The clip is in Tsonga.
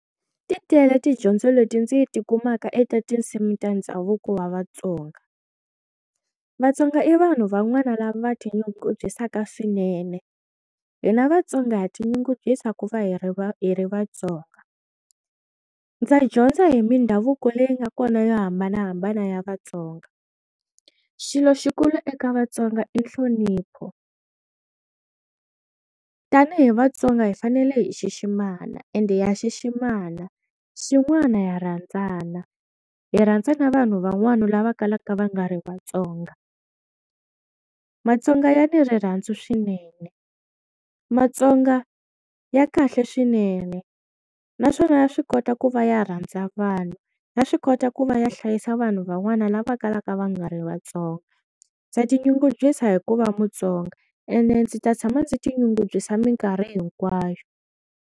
Ti tele tidyondzo leti ndzi ti tikumaka eka tinsimu ta ndhavuko wa Vatsonga, Vatsonga i vanhu van'wani lava va tinyungubyisaka swinene, hina Vatsonga tinyungubyisa ku va hi ri va hi ri Vatsonga ndza dyondza hi mindhavuko leyi nga kona yo hambanahambana ya Vatsonga, xilo xikulu eka Vatsonga i nhlonipho tanihi Vatsonga hi fanele hi xiximana ende ha xiximana, xin'wana ha rhandzana hi rhandza na vanhu van'wana lava kalaka va nga ri Vatsonga Matsonga ya ni rirhandzu swinene Matsonga ya kahle swinene naswona ya swi kota ku va ya rhandza vanhu ya swi kota ku va ya hlayisa vanhu van'wana lava kalaka va nga ri Vatsonga, ndza tinyungubyisa hikuva Mutsonga ende ndzi ta tshama ndzi ti nyungubyisa minkarhi hinkwayo.